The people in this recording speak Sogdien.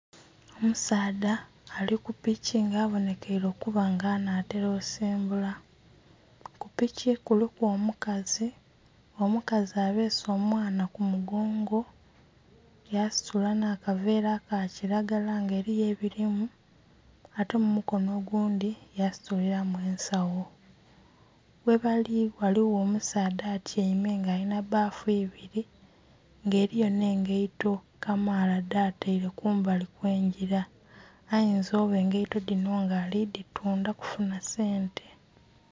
Omusaadha ali ku piki nga abonhekeire okuba nga anhatela okusimbula, ku piki kuliku omukazi, omukazi abese omwaana ku mugongo yasitula nha kaveera aka kilagala nga eriyo ebirimu ate omukono oghundhi yasitulilamu ensagho. Ghebali ghaligho omusaadha atyaime nga alinha bbafu ibiri nga eriyo engaito kamaala dha taire kumbali kwe ngila ayinza okuba engaito dhinho nga ali dhitundha okufunha sente.